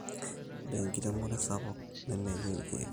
ore enkiremore sapuk nemeyieu ilkeek